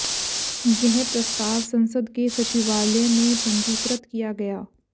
यह प्रस्ताव संसद के सचिवालय में पंजीकृत किया गया